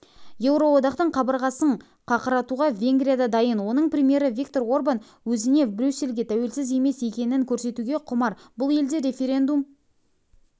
еуроодақтың қабырғасын қақыратуға венгрия да дайын оның премьері виктор орбан өзінің брюссельге тәуелсіз емес екенін көрсетуге құмар бұл ел де референдум